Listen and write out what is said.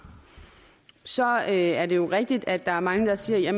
så er det jo rigtigt at der er mange der siger